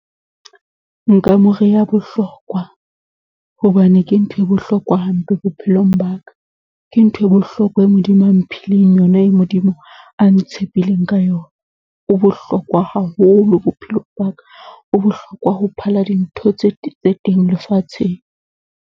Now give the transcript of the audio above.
Nka mo reha Bohlokwa, hobane ke nthwe bohlokwa hampe bophelong ba ka, ke nthwe bohlokwa e Modimo a mphileng yona, e Modimo a ntshepileng ka yona. O bohlokwa haholo bophelong ba ka. O bohlokwa ho phala dintho tse tse teng lefatsheng.